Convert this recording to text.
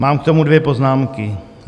Mám k tomu dvě poznámky.